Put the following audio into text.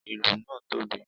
ìlù naa tobi.